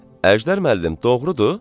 Əjdər müəllim, doğrudur?